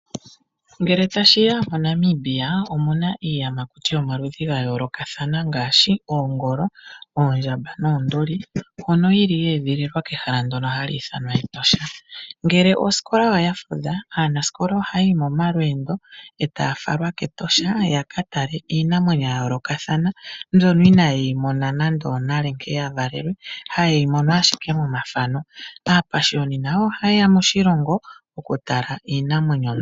Ngele tashi ya moNamibia omu na iiyamakuti yomaludhi ga yoolokathana ngaashi oongolo, oondjamba noonduli mbyono yili yeedhililwa kehala ndono hali ithana Etosha. Ngele osikola oya fudha aanasikola ohaya yi momalweendo etaya falwa kEtosha ya katale iinamwenyo ya yoolokathana mbyoka inaaye yi mona nande onale nkene ya valelwe haye yi mono ashike momafano. Aapashiyoni nayo ohaye ya moshilongo okutala iinamwenyo.